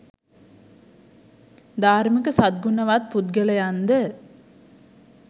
ධාර්මික සත් ගුණවත් පුද්ගලයන්ද